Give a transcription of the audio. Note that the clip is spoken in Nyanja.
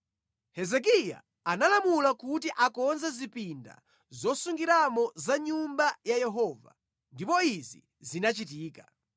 Hezekiya analamula kuti akonze zipinda zosungiramo za mʼNyumba ya Yehova, ndipo izi zinachitika.